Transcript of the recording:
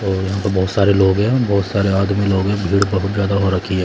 और यहां पर बहोत सारे लोग हैं बहोत सारे आदमी लोग हैं भीड़ बहोत ज्यादा हो रखी है।